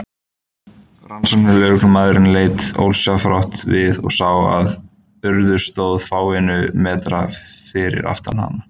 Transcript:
Rannsóknarlögreglumaðurinn leit ósjálfrátt við og sá að Urður stóð fáeina metra fyrir aftan hann.